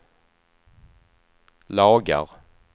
lagar